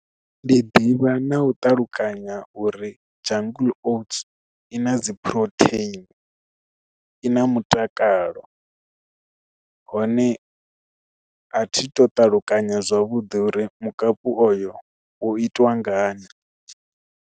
Ndi ḓivha na u ṱalukanya uri jungle oats i na dzi phurotheini i na mutakalo hone a thi tu ṱalukanya zwavhuḓi uri mukapu oyo u itiwa ngani.